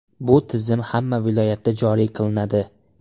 Bu tizim hamma viloyatda joriy qilinadi.